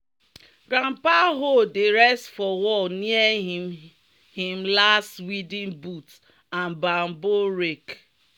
"grandpa hoe dey rest for wall near him him last weeding boot and bamboo rake."